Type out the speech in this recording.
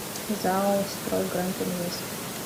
зао стройградинвест